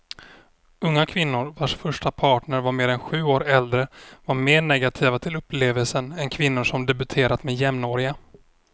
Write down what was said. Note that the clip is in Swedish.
Unga kvinnor vars första partner var mer än sju år äldre var mer negativa till upplevelsen än kvinnor som debuterat med jämnåriga.